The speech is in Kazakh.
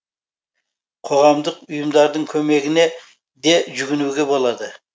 қоғамдық ұйымдардың көмегіне де жүгінуге болады